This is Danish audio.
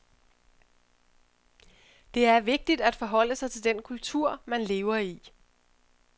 Det er vigtigt at forholde sig til den kultur, man lever i.